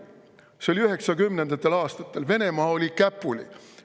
See oli 1990. aastatel, Venemaa oli käpuli.